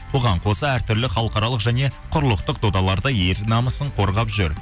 бұған қоса әртүрлі халықаралық және құрлықтық додаларда ел намысын қорғап жүр